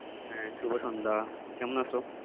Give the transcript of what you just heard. হ্যাঁ, শুভ সন্ধ্যা কেমন আছো?